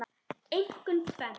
Einkum tvennt.